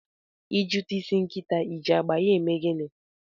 I jụta isi nkịta I ji agba ya eme gịnị?